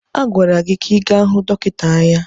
A gwara gị ka ị gaa hụ dọkịta anya!